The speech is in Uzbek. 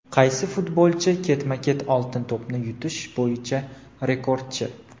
Qaysi futbolchi ketma-ket "Oltin to‘p"ni yutish bo‘yicha rekordchi?.